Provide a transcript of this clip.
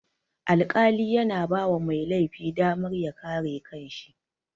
Alƙali yana bawa mai laifi damar ya kare kanshi